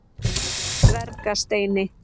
Dvergasteini